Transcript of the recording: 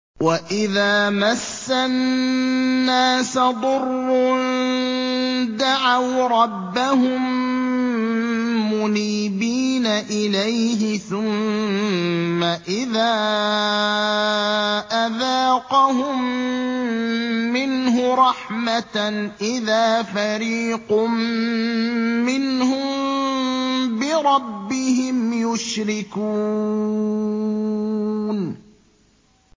وَإِذَا مَسَّ النَّاسَ ضُرٌّ دَعَوْا رَبَّهُم مُّنِيبِينَ إِلَيْهِ ثُمَّ إِذَا أَذَاقَهُم مِّنْهُ رَحْمَةً إِذَا فَرِيقٌ مِّنْهُم بِرَبِّهِمْ يُشْرِكُونَ